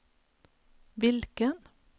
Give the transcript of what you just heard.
vilken